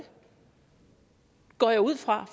går jeg ud fra